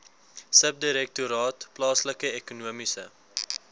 subdirektoraat plaaslike ekonomiese